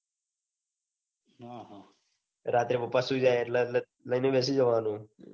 હ હ રાત્રે પાપા સુઈ જાય એટલે લઇ ને બેસી જવાનું.